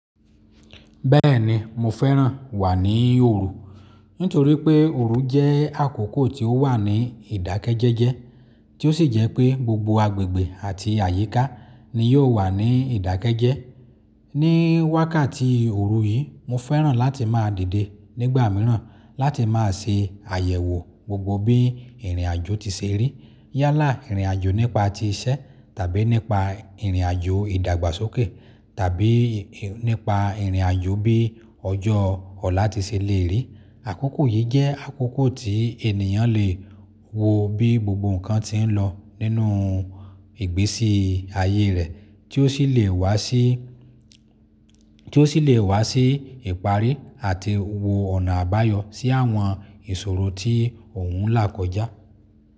Bẹ́ẹ̀ni, mo fẹ́ràn wà ní òru, nítorípé òru jẹ́ àkókò tí ó wà ní ìdákẹ́jẹ́jẹ́, tí ó sì jẹ́ pé gbogbo agbègbè àti àyíká ni ó wà ní ìdákẹ́jẹ́. Ní wákàtí òru yìí mo fẹ́ràn láti máa dìde nígbà mìíràn láti máa ṣe àyẹ̀wò gbogbo bí ìrìnàjò ti ṣe rí. Yálà ìrìnàjò nípa ti iṣẹ́ tàbí nípa ìrìnàjò ìdàgbàsókè tàbí nípa ìrìnàjò bí ọjọ́ ọ̀la ti ṣe lè rí. Àkókò yìí jẹ́ àkókò tí ènìyàn lè wo bí gbogbo nǹkan ti ń lọ nínú ìgbésí ayé rẹ̀ tí ó sì lè wá sí, tí ó sì lè wá sí ìparí àti wo ọ̀nà àbáyọ sí àwọn ìṣòro tí òhun là kọjá.